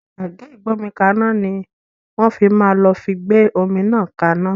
Àgé Ìgbómikanna ni wọn fi máa lò fi gbé omi náà kaná